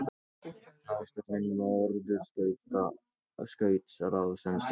Ráðstefna Norðurskautsráðsins hafin